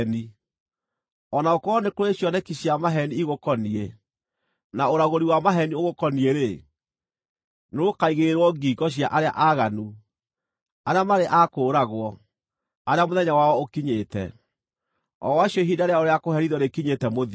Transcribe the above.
O na gũkorwo nĩ kũrĩ cioneki cia maheeni igũkoniĩ, na ũragũri wa maheeni ũgũkoniĩ-rĩ, nĩrũkaigĩrĩrwo ngingo cia arĩa aaganu, arĩa marĩ a kũũragwo, arĩa mũthenya wao ũkinyĩte, o acio ihinda rĩao rĩa kũherithio rĩkinyĩte mũthia.